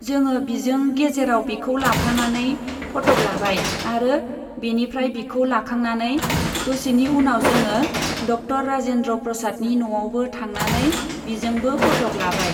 जोङो बिजों गेजेराव बिखौ लाफानानै फथक लाबाय आरो बेनिफ्राय बिखौ लाखांनानै दसेनि उनाव जोङो डक्टर राजेन्द्र प्रसादनि न'आवबो थांनानै बिजोंबो फथक लाबाय।